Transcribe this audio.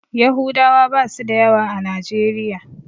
Yahudawa basu da yawa a najeriya.